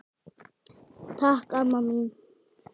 Takk amma mín.